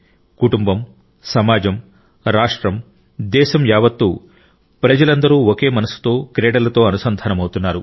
కుటుంబం సమాజం రాష్ట్రం దేశం యావత్తూ ప్రజలందరూ ఒకే మనస్సుతో క్రీడలతో అనుసంధానమవుతున్నారు